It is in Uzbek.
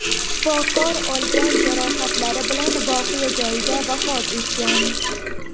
Shifokor olgan jarohatlari bilan voqea joyida vafot etgan.